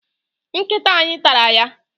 Nkịta anyị tara ya.